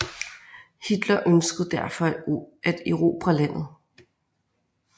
Hitler ønskede derfor at erobre landet